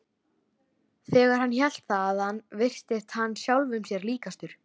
Þegar hann hélt þaðan virtist hann sjálfum sér líkastur.